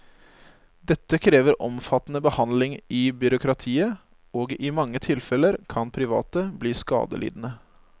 Dette krever omfattende behandling i byråkratiet, og i mange tilfeller kan private bli skadelidende.